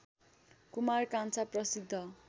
कुमार कान्छा प्रसिद्ध